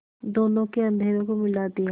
दोनों के अधरों को मिला दिया